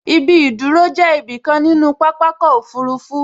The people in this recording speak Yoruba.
Ibi ìdúró jẹ́ ibi kan nínú pápákọ̀ òfurufú